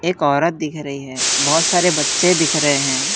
औरत दिख रही है बहोत सारे बच्चे दिख रहे हैं।